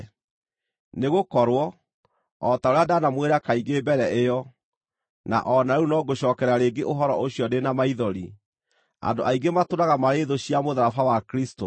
Nĩgũkorwo, o ta ũrĩa ndanamwĩra kaingĩ mbere ĩyo, na o na rĩu no ngũcookera rĩngĩ ũhoro ũcio ndĩ na maithori, andũ aingĩ matũũraga marĩ thũ cia mũtharaba wa Kristũ.